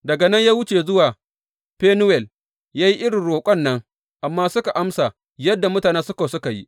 Daga nan ya wuce zuwa Fenuwel ya yi irin roƙon nan, amma suka amsa yadda mutanen Sukkot suka yi.